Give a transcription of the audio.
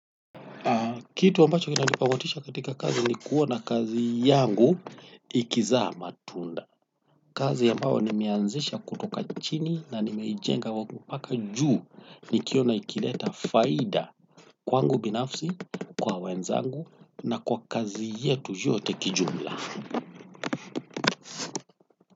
Kitu ambacho kinanipa motisha katika kazi ni kuona kazi yangu ikizaa matunda. Kazi ambayo nimeanzisha kutoka chini na nimeijenga mpaka juu nikiona ikileta faida kwangu binafsi, kwa wenzangu na kwa kazi yetu yote kijumla.